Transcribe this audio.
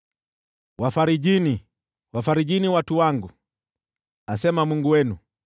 Wafarijini, wafarijini watu wangu, asema Mungu wenu.